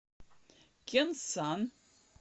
кенсан